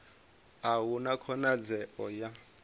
a hu na khonadzeo ya